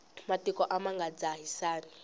matiko a ma nga dzahisani